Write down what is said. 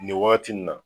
Nin wagati nin na